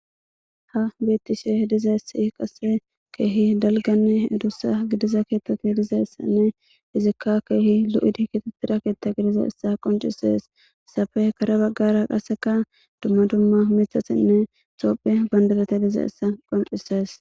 Ha beettishe dizessi qase keehi dalganne edussa gidiza keettati hidizessanne izikka keehi lu'id ikitettida keetta gidize issa qoncisees safe kara baggara qaseka dumma dumma mithasinne xophe bandadate dize issa qoncisees.